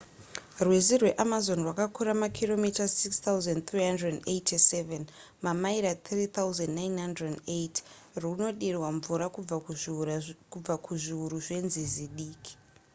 rwizi rweamazon rwakakura makiromita 6 387 mamaira 3,980. runodirwa mvura kubva kuzviuru zvenzizi diki